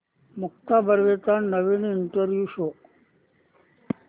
मुक्ता बर्वेचा नवीन इंटरव्ह्यु शोध